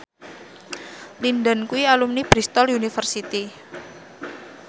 Lin Dan kuwi alumni Bristol university